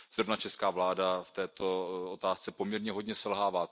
Zrovna česká vláda v této otázce poměrně hodně selhává.